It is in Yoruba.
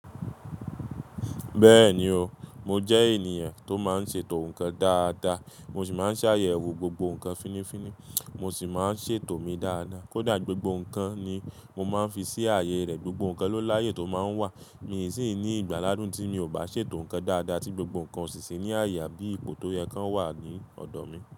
Bẹ́ẹ̀ni o, mo jẹ́ ènìyàn tó máa ń ṣètò nǹkan dáadáa, mo sì máa ń ṣàyẹ̀wò gbogbo nǹkan fínnífínní, mo sì máa ń ṣètò mi dáadáa. Kódà gbogbo nǹkan ni mo máa ń fi sí ààyè rẹ̀, gbogbo nǹkan ló láyè tó máa ń wà. Mi sì ní ìgbàládun tí mi ò bá ṣètò nǹkan dáadáa tí gbogbo nǹkan ó sì sì ní àyè bí ipò tó yẹ kan wà ní ọ̀dọ̀ mi.